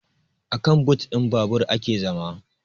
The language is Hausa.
Akan but ɗin babur ake zama